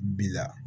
Bi la